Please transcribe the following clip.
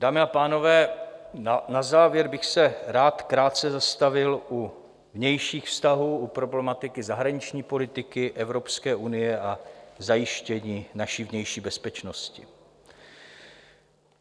Dámy a pánové, na závěr bych se rád krátce zastavil u vnějších vztahů, u problematiky zahraniční politiky, Evropské unie a zajištění naší vnější bezpečnosti.